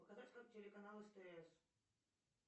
показать как телеканал стс